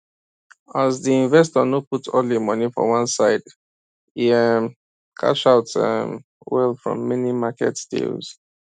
as the investor no put all him money for one side e um cash out um well from many market deals